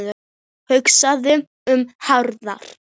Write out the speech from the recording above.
Hugsaðu um hraðann